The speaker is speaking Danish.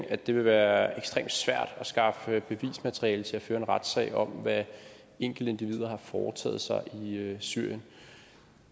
at det vil være ekstremt svært at skaffe bevismateriale til at føre en retssag om hvad enkeltindivider har foretaget sig i syrien